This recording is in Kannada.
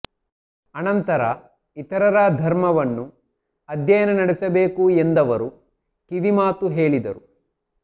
ಅನಂತರ ಇತರರ ಧರ್ಮವನ್ನು ಅಧ್ಯಯನ ನಡೆಸಬೇಕು ಎಂದವರು ಕಿವಿಮಾತು ಹೇಳಿದರು